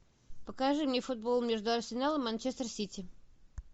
покажи мне футбол между арсеналом и манчестер сити